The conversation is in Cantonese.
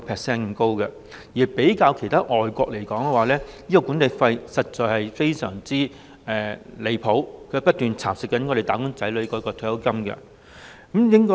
相比其他外國國家，本港強積金的管理費實在非常離譜，不斷蠶食"打工仔女"的退休金。